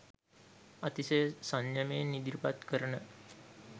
අතිශය සංයමයෙන් ඉදිරිපත් කරන